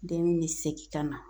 Den bi segin ka na